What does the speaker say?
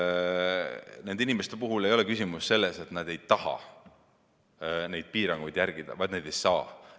Nende inimeste puhul ei ole küsimus selles, et nad ei taha piiranguid järgida, vaid selles, et nad ei saa neid järgida.